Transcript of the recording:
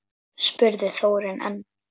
spurði Þórunn enn.